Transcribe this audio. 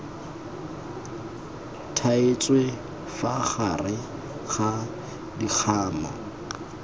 thaetswe fa gare ga dikgamu